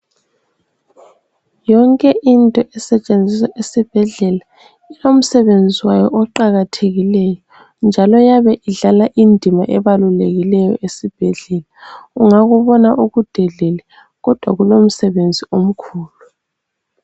Yonke into esetshenziswa esibhedlela, ilomsebenzi wayo oqakathekileyo .Njalo iyabe idlala indima ebalulekileyo esibhedlela, ungakubona ukudelele kodwa kulomsebenzi omkhulu.